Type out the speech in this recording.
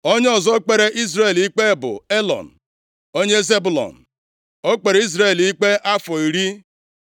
Onye ọzọ kpere Izrel ikpe bụ Elọn, onye Zebụlọn. O kpere Izrel ikpe afọ iri.